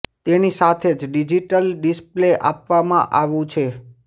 તેની સાથે જ ડિજિટસ ડિસ્પ્લે આપવામાં આવું છે